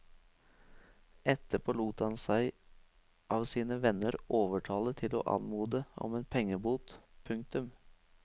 Etterpå lot han seg av sine venner overtale til å anmode om en pengebot. punktum